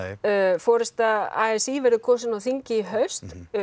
forysta a s í verður kosin á þingi í haust